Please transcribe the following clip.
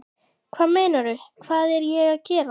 Hvað meinarðu, hvað er ég að gera?